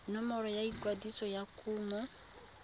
nomoro ya ikwadiso ya kumo